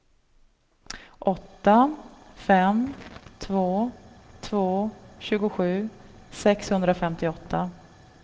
åtta fem två två tjugosju sexhundrafemtioåtta